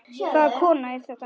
Hvaða kona er þetta?